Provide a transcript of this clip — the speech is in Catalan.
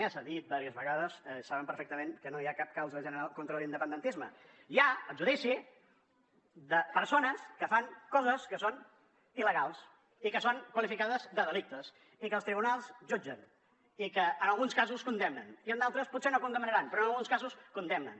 ja s’ha dit vàries vegades saben perfectament que no hi ha cap causa general contra l’independentisme hi ha el judici de persones que fan coses que són il·legals i que són qualificades de delicte i que els tribunals jutgen i que en alguns casos condemnen i en d’altres potser no condemnaran però en alguns casos condemnen